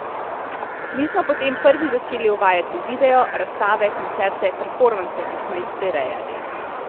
Mi smo potem prvi začeli uvajati video, razstave, koncerte, performanse, ki smo jih prirejali.